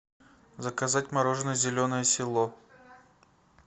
заказать мороженое зеленое село